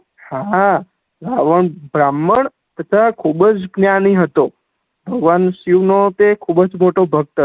હા, હા રાવણ ભ્રમણ તેથા ખૂબ જ્ઞાની હતો ભગવાન શિવ નો તે ખુબજ મોટો ભક્ત હતો